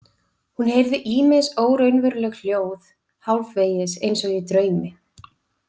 Hún heyrði ýmis óraunveruleg hljóð hálfvegis eins og í draumi.